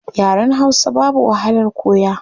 Yaren hausa babu wahalar koya